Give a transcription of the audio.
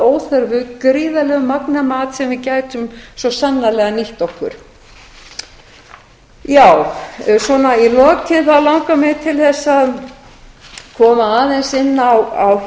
óþörfu gríðarlegu magni af mat sem við gætum svo sannarlega nýtt okkur í lokin langar mig til þess að koma aðeins inn á